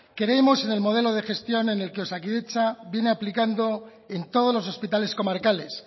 creemos en el modelo de gestión en el que osakidetza viene aplicando en todos los hospitales comarcales